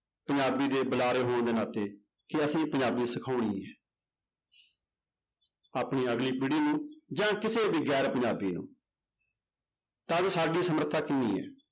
ਪੰਜਾਬੀ ਦੇ ਬੁਲਾਰੇ ਹੋਣ ਦੇ ਨਾਤੇ ਕਿ ਅਸੀਂ ਪੰਜਾਬੀ ਸਿਖਾਉਣੀ ਹੈ ਆਪਣੀ ਅਗਲੀ ਪੀੜ੍ਹੀ ਨੂੰ ਜਾਂ ਕਿਸੇ ਵੀ ਗ਼ੈਰ ਪੰਜਾਬੀ ਨੂੰ ਤਦ ਸਾਡੀ ਸਮਰਥਾ ਕਿੰਨੀ ਹੈ।